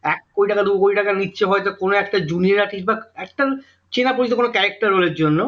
এক কোটি টাকা দুকোটি টাকা নিচ্ছে হয়তো কোন একটা junior artis বা একটা চেনা পরিচিত কোন charcter role এর জন্য